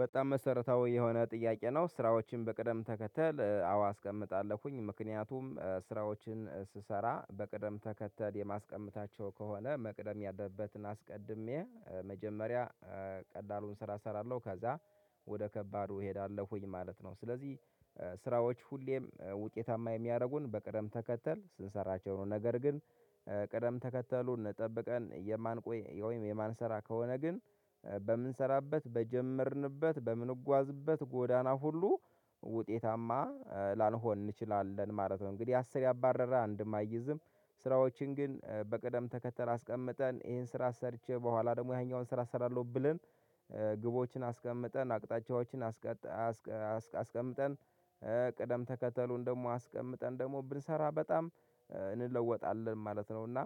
በጣም መሰረታዊ የሆነ ጥያቄ ነው ስራዎችን በቅደም ተከተል አዎ አስቀምጣለሁኝ ምክንያቱም ስራዎችን ስሰራ በቅደም ተከተል የማስቀምጣቸው ከሆነ መቅደም ያለበትን አስቀድሜ መጀመሪያ ቀዳሉን ስራ እሰራለሁ ከዛ ወደ ከባዱ እሄዳለሁኝ ማለት ነው። ስለዚህ ስራዎች ሁሌም ውጤታማ የሚያደርጉን በቀደም ተከተል ስንሰራቸው ነገር ግን ቀደም ተከተሉ እንጠብቀን የማንቆይ ወይም የማንሰራ ከሆነ ግን በምንሰራበት በጀመርንበት በምንጓዝበት ጎዳና ሁሉ ውጤታማ ላንሆን እንችላለን ማለት ነው። እንግዲህ አስር ያባረረ አንድም አይይዝም። ስራዎችን ግን በቅደም ተከተል አስቀምጠን ይሄን ስራ ሰርቼ በኋላ ደግሞ ያኛውን ስራ አሰራለሁ ብለን። ግቦችን አስቀምጠን አቅጣጫዎችን አስቀምጠን ቅደም ተከተሉን ደግሞ አስቀምጠን ደግሞ ብንሰራ በጣም እንለወጣለን ማለት ነው። እና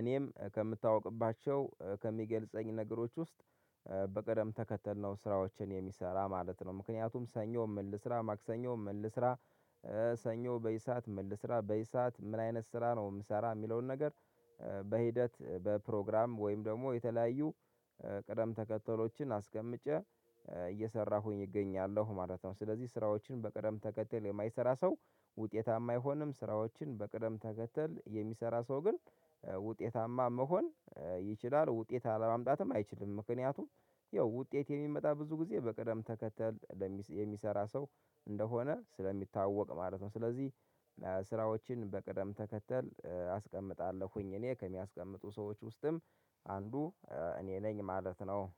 እኔም ከምታውቅባቸው ከሚገልጸኝ ነገሮች ውስጥ በቀደም ተከተል ነው ስራዎችን የሚሰራ ማለት ነው። ምክንያቱም ሰኞ ምል ስራ ማክሰኞ ምል ስራ ሰኞ በዚህ ሰዓት ምል ልስራ በዚህ ሰዓት ምን አይነት ስራ ነው ምሰራ ሚለውን ነገር። በሂደት በፕሮግራም ወይም ደግሞ የተለያዩ ቀደም ተከተሎችን አስቀምጨ እየሰራሁኝ እገኛለሁ ማለት ነው። ስለዚህ ስራዎችን በቅደም ተከተል የማይሰራ ሰው ውጤታማ አይሆንም ስራዎችን በቅደም ተከተል የሚሰራ ሰው ግን ውጤታማ መሆን ይችላል ውጤት አለማምጣትም አይችልም። ምክንያቱም ይኸው ውጤት የሚመጣ ብዙ ጊዜ በቀደም ተከተል የሚሰራ ሰው እንደሆነ ስለሚታወቅ ማለት ነው። ስለዚህ በቅደም ተከተል አስቀምጣለሁኝ እኔ ከሚያስቀምጡ ሰዎች ውስጥም አንዱ እኔ ነኝ ማለት ነው